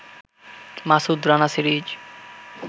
Masud Rana series